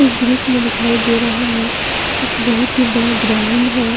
इस दृश्य में दिखाई दे रहा है एक बहुत ही बड़ा ग्राउंड है।